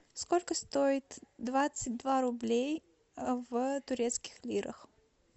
сколько стоит двадцать два рублей в турецких лирах